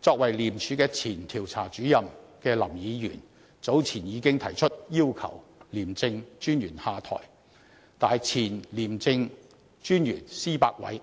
作為廉署前調查主任的林議員早前已經提出要求廉政專員下台，但前廉政專員施百偉